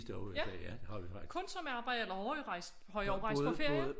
Ja kun som arbejde eller har I rejst har I og rejst på ferie?